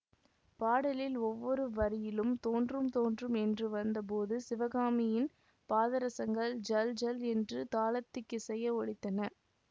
பாடலில் ஒவ்வொரு வரியிலும் தோன்றும் தோன்றும் என்று வந்த போது சிவகாமியின் பாதரசங்கள் ஜல் ஜல் என்று தாளத்துக்கிசைய ஒலித்தன